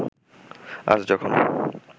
আজ যখন